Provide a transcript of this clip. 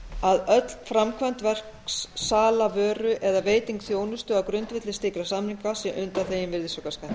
að öll framkvæmd verks sala vöru eða veiting þjónustu á grundvelli slíkra samninga sé undanþegin virðisaukaskatti